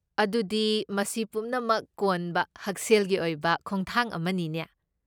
ꯑꯗꯨꯗꯤ ꯃꯁꯤ ꯄꯨꯝꯅꯃꯛ ꯀꯣꯟꯕ ꯍꯛꯁꯦꯜꯒꯤ ꯑꯣꯏꯕ ꯈꯣꯡꯊꯥꯡ ꯑꯃꯅꯤꯅꯦ꯫